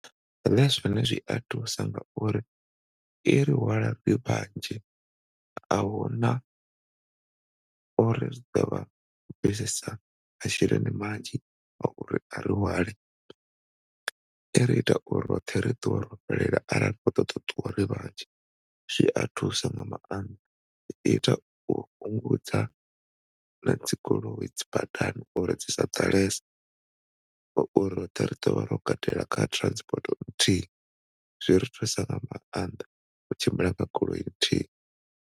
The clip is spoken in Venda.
Zwone zwia thusa nga uri iri hwala ri vhanzhi ahuna uri ri ḓovha ro bvisesa masheleni manzhi a uri ari hwale. Iri ita uri roṱhe ri ṱuwe ro fhelela ara ri kho ṱoḓa u ṱuwa zwia thusa nga maanḓa. I ita u fhungudza na dzigoloi dzi badani uri dzi sa ḓalese ngori roṱhe ri ḓovha ro katela kha transport nthihi zwiri thusa nga maanḓa zwiri thusa nga maanḓa u tshimbila nga goloi nthihi.